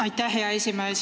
Aitäh, hea esimees!